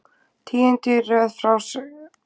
Tíundi í röð hjá Sundsvall